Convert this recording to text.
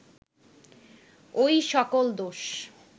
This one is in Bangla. ঐ সকল দোষ